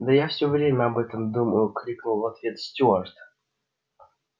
да я всё время об этом думаю крикнул в ответ стюарт